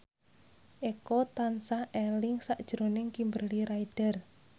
Eko tansah eling sakjroning Kimberly Ryder